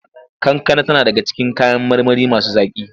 Kankana tana daga cikin kayan marmari masu zaƙi.